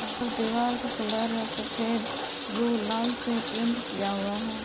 दीवार का कलर है सफेद ब्लू लाल से पेंट किया हुआ है।